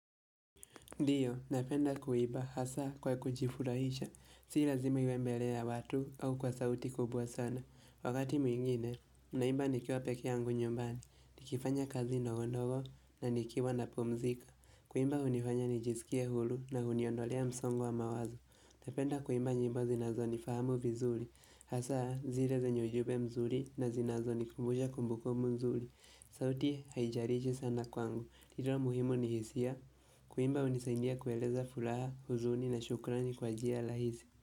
Ndiyo, napenda kuiba hasa kwa kujifurahisha, sii lazima iwe mbeleya watu au kwa sauti kubwa sana. Wakati mwingine, naimba nikiwa pekee yangu nyumbani, nikifanya kazi ndogo ndogo na nikiwa na pumzika. Kuimba hunifanya nijisikie huru na huniondolea msongo wa mawazo. Napenda kuimba nyimbo zinazo ni fahamu vizuri, hasa zile zenye ujumbe mzuri na zinazo ni kumbusha kumbukumbu nzuri. Sauti haijalishi sana kwangu, la muhimu ni hisia. Kuimba hunisaidia kueleza furaha huzuni na shukrani kwa njia rahisi.